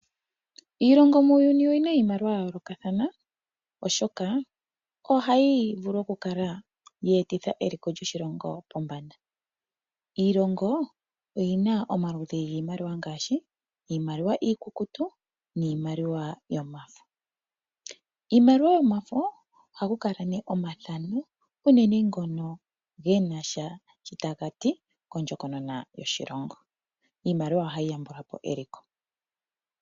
Iilongo muuyuni oyi na iimaliwa ya yoolokathana oshoka ohayi vulu okukala ya etitha eliko lyoshilongo pombanda. Iilongo oyi na omaludhi giimaliwa ngaashi iimaliwa iikukutu niimaliwa yomafo. Iimaliwa yomafo ohaku kala ne omathano unene ngono genasha sho taga ti kondjokonona yoshilongo. Iimaliwa ohayi yambula po eliko.